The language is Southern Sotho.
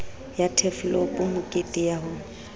ya turfloop mekete ya ho